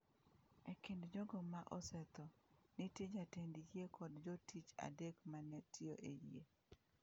E kind jogo ma osetho, nitie jatend yie kod jotich adek ma ne tiyo e yie.